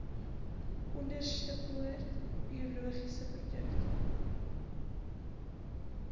onderstepoort biologiese produkte